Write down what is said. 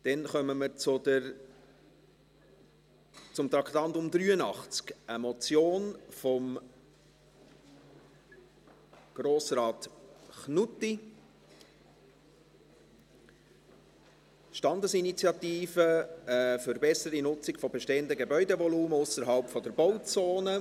Wir kommen zum Traktandum 83, eine Motion von Grossrat Knutti, eine «Standesinitiative für eine bessere Nutzung von bestehendem Gebäudevolumen ausserhalb der Bauzone».